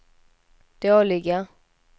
dåliga